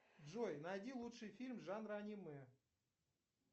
джой найди лучший фильм жанра аниме